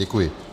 Děkuji.